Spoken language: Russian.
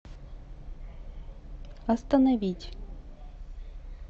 остановить